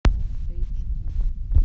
эйч ди